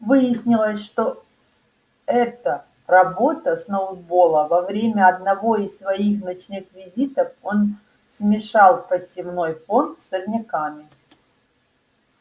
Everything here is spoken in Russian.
выяснилось что это работа сноуболла во время одного из своих ночных визитов он смешал посевной фонд с сорняками